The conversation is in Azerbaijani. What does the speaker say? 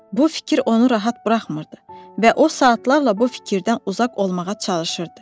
Bu fikir onu rahat buraxmırdı və o saatlarla bu fikirdən uzaq olmağa çalışırdı.